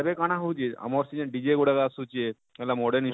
ଏବେ କାଣା ହଉଛେ ଆମର ସେ ଜେନ DJ ଗୁଡାକ ଆସୁଛେ ହେଲା moden instu